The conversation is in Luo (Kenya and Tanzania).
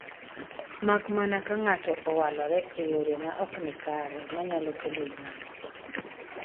mak mana ka ng'ato owalore e yore ma ok nikare ma nyalo kwelo ywarruok